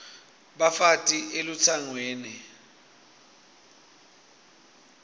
bafati baya elutsangweni